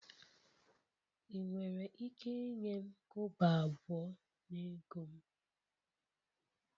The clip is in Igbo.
Ị nwere ike inye m kobo abụọ na ego m?